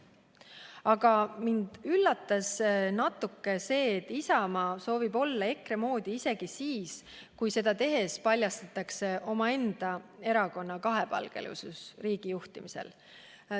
Aga mind üllatas natuke see, et Isamaa soovib olla EKRE moodi isegi siis, kui seda tehes paljastatakse omaenda erakonna kahepalgelisus riigijuhtimisel.